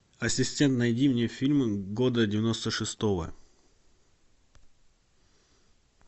ассистент найди мне фильмы года девяносто шестого